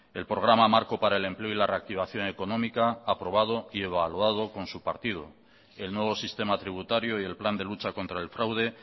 el programa marco para el empleo y la reactivación económica aprobado y evaluado con su partido el nuevo sistema tributario y el plan de lucha contra el fraude